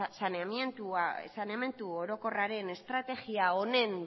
saneamendu orokorraren estrategia honen